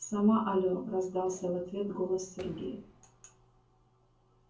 сама алло раздался в ответ голос сергея